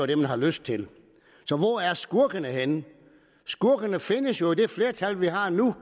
det man har lyst til så hvor er skurkene henne skurkene findes jo i det flertal vi har nu